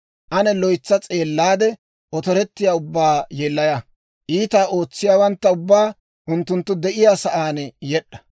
Ane loytsa s'eellaade, otorettiyaa ubbaa yeellaya; iitaa ootsiyaawantta ubbaa unttunttu de'iyaa saan yed'd'a!